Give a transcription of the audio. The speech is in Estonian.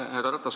Härra Ratas!